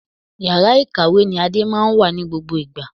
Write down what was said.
Yàrá ìkàwé ni Ade máa ń wà ní gbogbo ìgbà